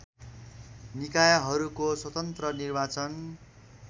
निकायहरूको स्वतन्त्र निर्वाचन